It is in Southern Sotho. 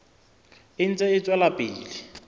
e ntse e tswela pele